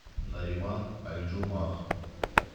нариман альджумах